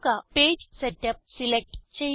page setup select ചെയ്യുക